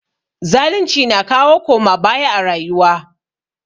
Zalunci na kawo koma baya a rayuwa.